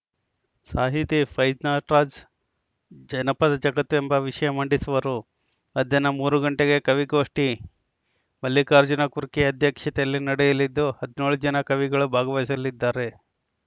ಸಾಹಿತಿ ಫೈಜ್ನಾಟ್ರಾಜ್‌ ಜನಪದ ಜಗತ್ತು ಎಂಬ ವಿಷಯ ಮಂಡಿಸುವರು ಮಧ್ಯಾಹ್ನ ಮೂರು ಗಂಟೆಗೆ ಕವಿಗೋಷ್ಠಿ ಮಲ್ಲಿಕಾರ್ಜುನ ಕುರ್ಕಿ ಅಧ್ಯಕ್ಷತೆಯಲ್ಲಿ ನಡೆಯಲಿದ್ದು ಹದಿನೇಳು ಜನ ಕವಿಗಳು ಭಾಗವಹಿಸಲಿದ್ದಾರೆ